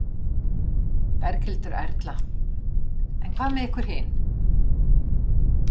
Berghildur Erla: En hvað með ykkur hin?